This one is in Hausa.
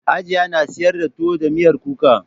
Hajiya na sayar da tuwo da miyar kuka.